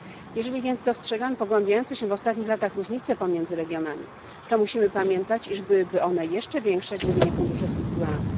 Jeżeli więc dostrzegamy pogłębiające się w ostatnich latach różnice pomiędzy regionami, musimy pamiętać też, iż byłyby one jeszcze większe, gdyby nie fundusze strukturalne.